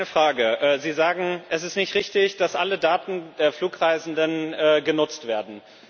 Ich habe eine Frage Sie sagen, es ist nicht richtig, dass alle Daten der Flugreisenden genutzt werden.